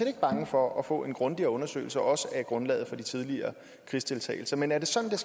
ikke bange for at få en grundigere undersøgelse også af grundlaget for tidligere krigsdeltagelse men er det sådan